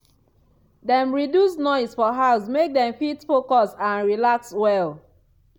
dem reduce noise for house make dem fit focus and relax well.